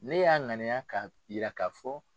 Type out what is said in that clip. Ne y'a ŋaniya ka yiraka fɔ.